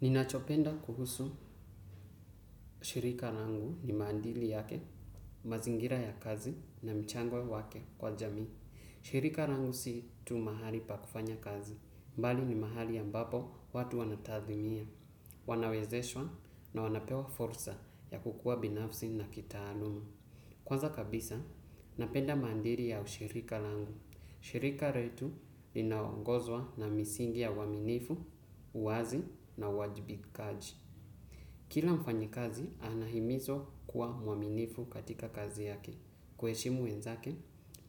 Ninachopenda kuhusu shirika langu ni maandili yake, mazingira ya kazi na mchango wake kwa jamii. Shirika langu si tu mahali pa kufanya kazi, mbali ni mahali ya ambapo watu wanatathimia, wanawezeshwa na wanapewa fursa ya kukuwa binafsi na kitaaluma. Kwanza kabisa, napenda maandiri ya ushirika langu. Shirika letu linaongozwa na misingi ya uaminifu, uwazi na uwajibikaji. Kila mfanyikazi anahimizwa kuwa mwaminifu katika kazi yake, kuheshimu wenzake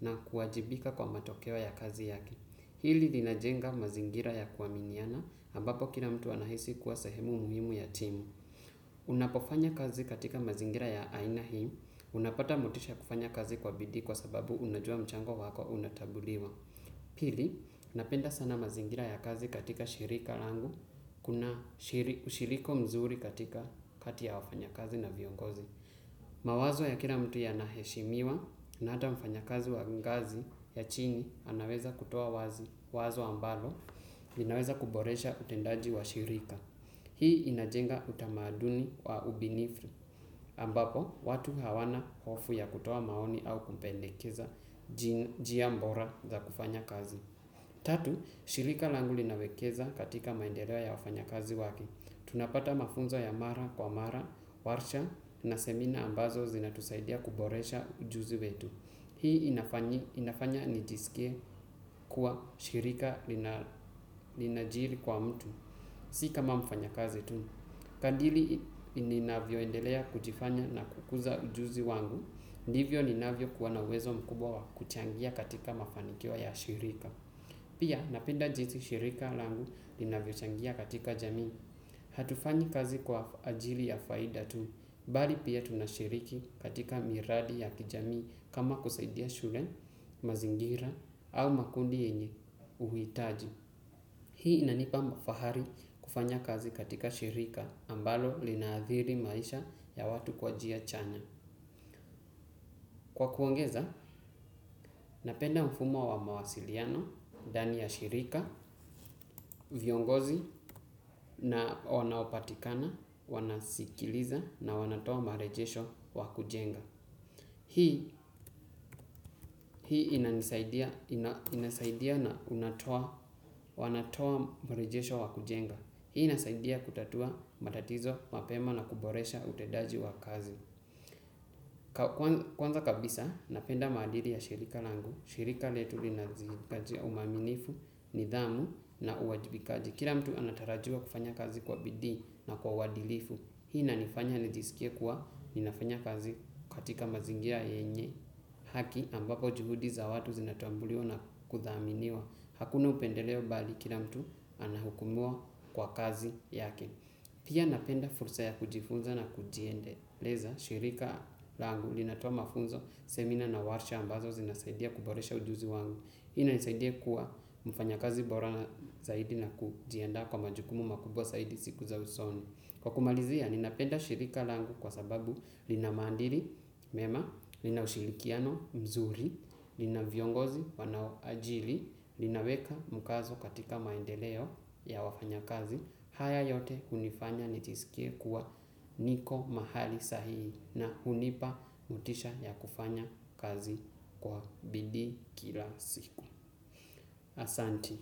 na kuwajibika kwa matokeo ya kazi yake. Hili linajenga mazingira ya kuaminiana, ambapo kila mtu anahisi kuwa sahemu muhimu ya timu. Unapofanya kazi katika mazingira ya aina hii, unapata motisha ya kufanya kazi kwa bidii kwa sababu unajua mchango wako unatambuliwa. Pili, napenda sana mazingira ya kazi katika shirika langu, kuna ushiriko mzuri katika kati ya wafanyakazi na viongozi. Mawazo ya kila mtu yanaheshimiwa na hata mfanyakazi wa ngazi ya chini, anaweza kutoa wazi wazo ambalo, linaweza kuboresha utendaji wa shirika. Hii inajenga utamaduni wa ubinifi, ambapo watu hawana hofu ya kutoa maoni au kupendekeza njia bora za kufanya kazi. Tatu, shirika langu linawekeza katika maendeleo ya wafanyakazi wake. Tunapata mafunzo ya mara kwa mara, warsha na semina ambazo zinatusaidia kuboresha ujuzi wetu. Hii inafanya nijisikie kuwa shirika linajiri kwa mtu. Si kama mfanyakazi tu. Kandili ninavyoendelea kujifanya na kukuza ujuzi wangu. Ndivyo ninavyokuwa na uwezo mkubwa kuchangia katika mafanikio ya shirika. Pia napenda jinsi shirika langu linavyochangia katika jamii. Hatufanyi kazi kwa ajili ya faida tu, mbali pia tunashiriki katika miradi ya kijamii kama kusaidia shule, mazingira au makundi yenye uhitaji. Hii inanipa fahari kufanya kazi katika shirika ambalo linaadhiri maisha ya watu kwa njia chanya. Kwa kuongeza, napenda mfumo wa mawasiliano ndani ya shirika, viongozi na wanaopatikana, wanasikiliza na wanatoa marejesho kwa kujenga. Hii inasaidia na wanatoa marejesho wa kujenga. Hii inasaidia kutatua matatizo mapema na kuboresha utendaji wa kazi. Kwanza kabisa, napenda maadili ya shirika langu. Shirika letu linazikajia uaminifu, nidhamu na uwajibikaji. Kila mtu anatarajiwa kufanya kazi kwa bidii na kwa uadilifu. Hii inanifanya nijisikie kuwa ninafanya kazi katika mazingira yenye haki ambapo juhudi za watu zinatambuliwa na kudhaminiwa. Hakuna upendeleo mbali kila mtu anahukumiwa kwa kazi yake. Pia napenda fursa ya kujifunza na kujiendeleza. Shirika langu linatoa mafunzo, semina na warsha ambazo zinasaidia kuboresha ujuzi wangu. Hii inanisaidia kuwa mfanyakazi bora zaidi na kujiandaa kwa majukumu makubwa zaidi siku za usoni. Kwa kumalizia, ninapenda shirika langu kwa sababu lina maadili mema, lina ushirikiano mzuri, lina viongozi wanao ajili, linaweka mkazo katika maendeleo ya wafanyakazi. Haya yote hunifanya nijisikie kuwa niko mahali sahihi na hunipa motisha ya kufanya kazi kwa bidii kila siku. Asanti.